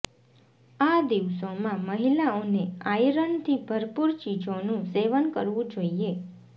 આ દિવસોમાં મહિલાઓને આયરનથી ભરપૂર ચીજોનું સેવન કરવું જોઇએ